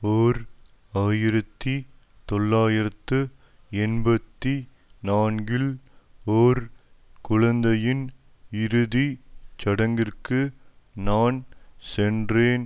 ஓர் ஆயிரத்தி தொள்ளாயிரத்து எண்பத்தி நான்கில் ஒரு குழந்தையின் இறுதி சடங்கிற்கு நான் சென்றேன்